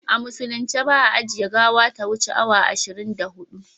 A musulunce ba a ajiye gawa ta wuce awa ishirin da hudu